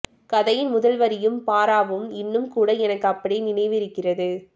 கதையின் முதல் வரியும் பாராவும் இன்னும் கூட எனக்கு அப்படியே நினைவு இருக்கிறது